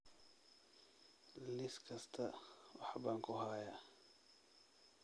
Liis kasta wax baan ku hayaa